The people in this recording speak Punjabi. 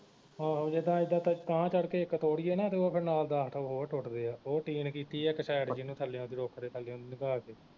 ਆਹੋ ਜਿੱਦਾ ਇੱਦਾਂ ਤਾਹ ਚੜ ਕੇ ਇਕ ਤੋੜੀਏ ਨਾ ਤੇ ਉਹ ਫਿਰ ਨਾਲ ਦਹ ਹੋਰ ਟੁੱਟਦੇ ਆ ਉਹ ਟੀਨ ਕੀਤੀ ਇਕ side ਜਿਹਨੂੰ ਥੱਲਿਓਂ ਦੀ ਰੁੱਖ ਦੇ ਥੱਲਿਓਂ ਦੀ ਨੰਗਾ ਕੇ